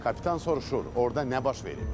Kapitan soruşur: orda nə baş verib?